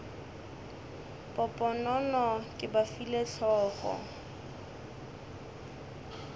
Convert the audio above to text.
poponono ke ba file hlogo